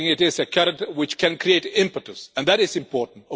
I think it is a carrot which can create impetus, and that is important.